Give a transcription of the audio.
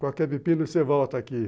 Qualquer pepino você volta aqui.